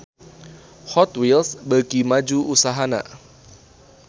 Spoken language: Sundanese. Hot Wheels beuki maju usahana